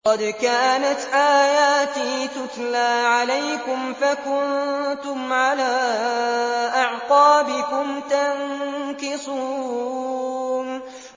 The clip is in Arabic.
قَدْ كَانَتْ آيَاتِي تُتْلَىٰ عَلَيْكُمْ فَكُنتُمْ عَلَىٰ أَعْقَابِكُمْ تَنكِصُونَ